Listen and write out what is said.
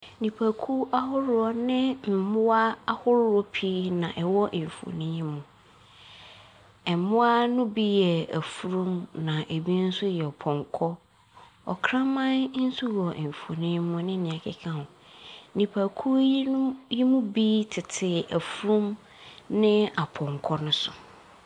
Nnipakuo ahoroɔ ne mmoa ahoroɔ pii na ɛwɔ mfonin yi mu. Mmoa no bi yɛ afunumu, na ebinom nso yɛ pɔnkɔ. Ɔkraman nso wɔ mfonin yi mu ne nea ɛkeka ho. Nnipakuo yinom yi mu bi tete afunumu ne apɔnko no so.